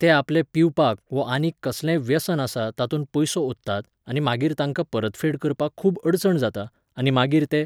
ते आपले पिवपाक वो आनीक कसलेंय व्यसन आसा तातूंत पयसो ओंत्तात आनी मागीर तांकां परतफेड करपाक खूब अडचण जाता, आनी मागीर ते